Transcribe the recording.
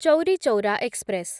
Chauri Chaura express